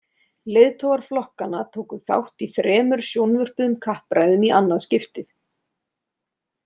Leiðtogar flokkanna tóku þátt í þremur sjónvörpuðum kappræðum í annað skiptið.